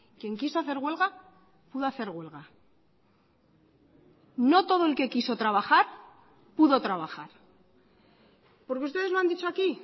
quien quiso hacer huelga pudo hacer huelga no todo el que quiso trabajar pudo trabajar porque ustedes lo han dicho aquí